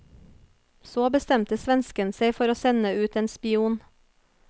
Så bestemte svensken seg for å sende ut en spion.